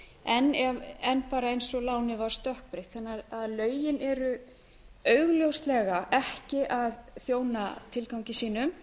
eftir endurútreikninginn en bara eins og lánið var stökkbreytt þannig að lögin eru augljóslega ekki að þjóna tilgangi sínum